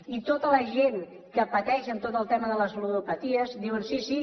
i tota la gent que pateix amb tot el tema de les ludopaties diuen sí sí